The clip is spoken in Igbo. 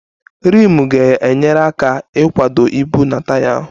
Rimu ga-enyere aka ịkwado ibu nke taya ahụ